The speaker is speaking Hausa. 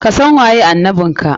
Kasan waye annabin ka!